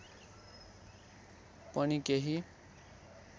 पनि केही